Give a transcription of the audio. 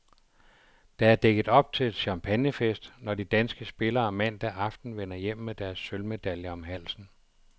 Der er dækket op til champagnefest, når de danske spillere mandag aften vender hjem med deres sølvmedaljer om halsen.